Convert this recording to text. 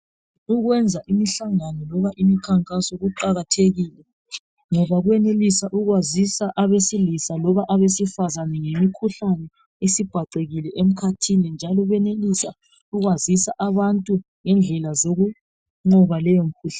Ukwenza imihlangano loba imikhankaso kuqakathekile. Ngoba kuyenelisa ukwazisa abesilisa loba abesifazane ngemikhuhlane esibhacekile emkhathini .Njalo kuyenelisa ukwazisa abantu ngendlela zokunqoba leyo mikhuhlane .